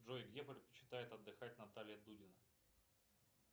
джой где предпочитает отдыхать наталья дудина